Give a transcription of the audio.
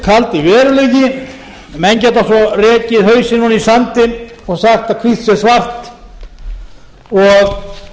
hinn kaldi veruleiki menn geta svo rekið hausinn ofan í sandinn og sagt að hvítt sé svart og